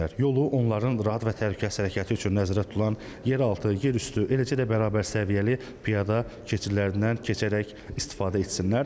Yolu onların rahat və təhlükəsiz hərəkəti üçün nəzərdə tutulan yeraltı, yerüstü, eləcə də bərabərsəviyyəli piyada keçidlərindən keçərək istifadə etsinlər.